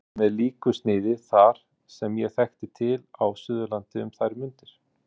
Hús voru með líku sniði þar, sem ég þekkti til á Suðurlandi um þær mundir.